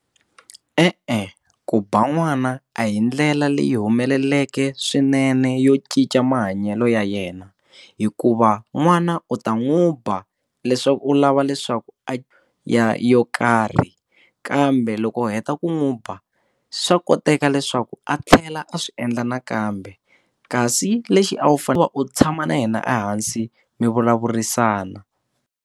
E-e, ku ba n'wana a hi ndlela leyi humeleleke swinene yo cinca mahanyelo ya yena hikuva n'wana u ta n'wi ba leswaku u lava leswaku a ya yo karhi kambe loko u heta ku n'wi ba swa koteka leswaku a tlhela a swi endla nakambe kasi lexi a wu fanela u tshama na yena ehansi mi vulavurisana.